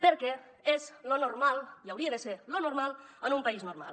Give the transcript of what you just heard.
perquè és lo normal i hauria de ser lo normal en un país normal